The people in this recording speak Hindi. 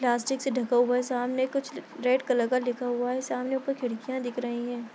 प्लास्टिक से ढका हुआ है सामने कुछ रेड कलर का कुछ लिखा हुआ है सामने ऊपर खिड़कियाँ दिख रही हैं।